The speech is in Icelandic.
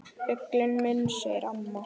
Fuglinn minn, segir mamma.